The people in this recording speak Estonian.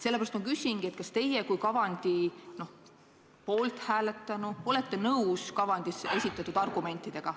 Sellepärast ma küsingi, kas teie, kui kavandi poolt hääletanu, olete nõus kavandis esitatud argumentidega.